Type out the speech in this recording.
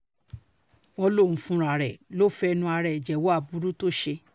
wọ́n lóun fúnra ẹ̀ ló lọ́ọ́ fẹnu ara ẹ̀ jẹ́wọ́ aburú tó ṣe